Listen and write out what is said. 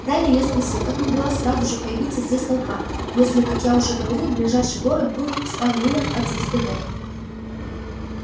далее я спросил как могла сразу же появиться здесь толпа если как я уже говорил ближайший город был в ста милях от звездолёта